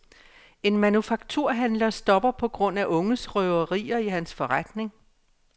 En manufakturhandler stopper på grund af unges røverier i hans forretning.